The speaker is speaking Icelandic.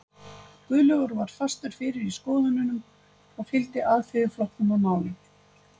Guðlaugur var fastur fyrir í skoðununum og fylgdi Alþýðuflokknum að málum.